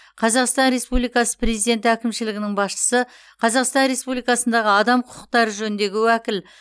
қазақстан республикасы президенті әкімшілігінің басшысы қазақстан республикасындағы адам құқықтары жөніндегі уәкіл